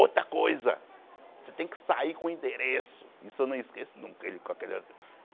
Outra coisa, você tem que sair com o endereço, isso eu não esqueço nunca. Ele com aquele